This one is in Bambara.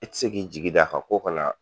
I ti se k'i jigi da kan ko ka na.